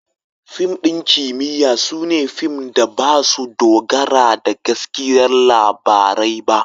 Fim ɗin kimiyya su ne fim da ba su dogara da gaskiyar labarai ba.